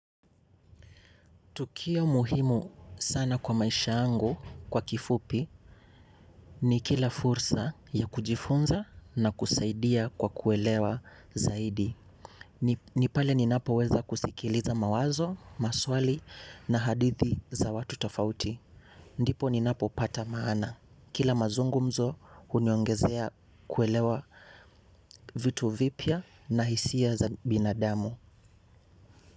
Tukio muhimu sana kwa maisha yangu kwa kifupi ni kila fursa ya kujifunza na kusaidia kwa kuelewa zaidi. Ni pale ninapo weza kusikiliza mawazo, maswali na hadithi za watu tofauti. Ndipo ninapo pata maana. Kila mazungumzo uniongezea kuelewa vitu vipya na hisiya za binadamu.